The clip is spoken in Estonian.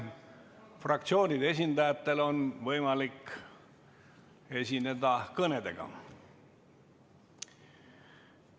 Fraktsioonide esindajatel on võimalik esineda kõnedega.